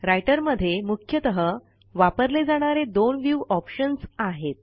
writer मध्ये मुख्यतः वापरले जाणारे दोन व्ह्यू ऑप्शन्स आहेत